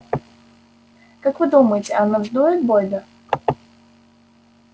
как вы думаете она вздует бойда